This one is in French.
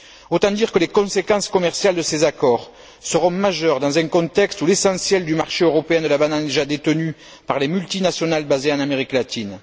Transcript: Autant dire que les conséquences commerciales de ces accords seront majeures dans un contexte où l'essentiel du marché européen de la banane est déjà détenu par les multinationales basées en Amérique latine.